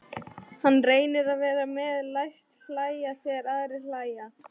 Hann reynir að vera með, læst hlæja þegar aðrir hlæja.